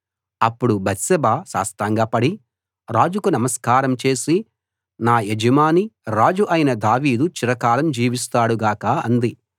అప్పుడు బత్షెబ సాష్టాంగపడి రాజుకు నమస్కారం చేసి నా యజమాని రాజు అయిన దావీదు చిరకాలం జీవిస్తాడు గాక అంది